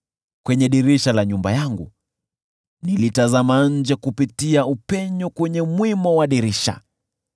Kwenye dirisha la nyumba yangu nilitazama nje kupitia upenyo kwenye mwimo wa dirisha.